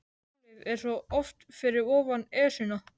Tunglið er svo oft fyrir ofan Esjuna.